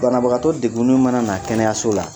Banabagatɔ degun nen mana na kɛnɛyaso la